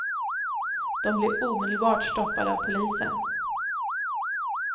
De blir omedelbart stoppade av polisen.